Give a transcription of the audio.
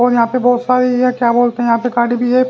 और यहां पे बहुत सारी क्या बोलते हैं यहां पे गाड़ी भी है ।